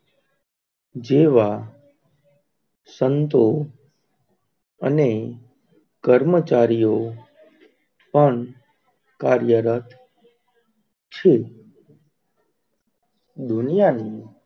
જેવા સંતો અને કર્મચારીઓ પણ કાર્ય રથ છે દુનિયાની